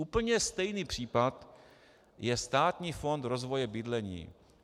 Úplně stejný případ je Státní fond rozvoje bydlení.